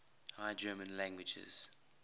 high german languages